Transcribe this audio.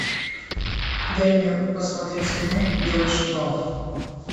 дай мне посмотреть кино белый шквал